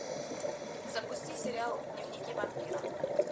запусти сериал дневники вампира